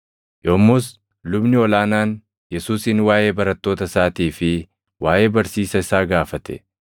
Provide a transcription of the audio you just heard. Yommus lubni ol aanaan Yesuusin waaʼee barattoota isaatii fi waaʼee barsiisa isaa gaafate.